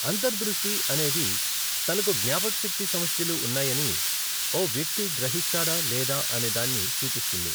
అంతర్దృష్టి అనేది తనకు జ్ఞాపకశక్తి సమస్యలు ఉన్నాయని ఓ వ్యక్తి గ్రహిస్తాడా లేదా అనేదాన్ని సూచిస్తుంది.